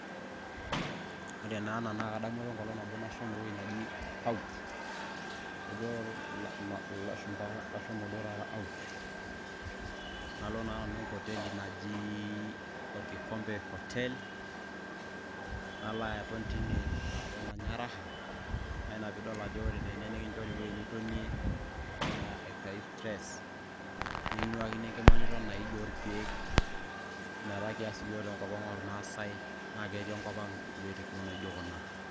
ore naa ena naa kadamu apa enkolong nabo nashomo ewueji naji out, kejo ilashumba ashomo duo taata out nalo naa nanu enkoteli naji orkikompe hotel nalo aton tine aton anya raha naina piidol ajo ore tene nikinchori ewueji nitonie aton aitayu stress nikinuakini enkima niton aij orkeek ina taa kias yiook tenkop ang ormaasay naa ketii enkop ang iwuejitin kumok naijo kuna.